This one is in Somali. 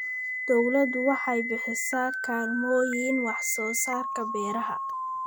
Dawladdu waxay bixisaa kaalmooyin wax-soo-saarka beeraha.